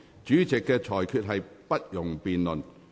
主席的裁決不容辯論。